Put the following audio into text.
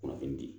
Kunnafoni di